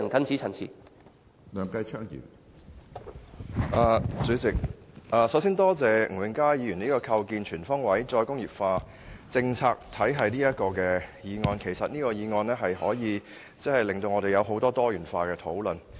主席，首先多謝吳永嘉議員提出"構建全方位'再工業化'政策體系"議案，這項議案可以令我們展開多元化討論。